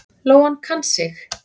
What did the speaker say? Lóan kann sig.